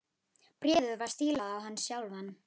Bréfið var stílað á hann sjálfan.